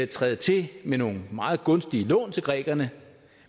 træde til med nogle meget gunstige lån til grækerne